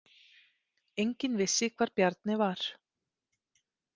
Enginn vissi hvar Bjarni var.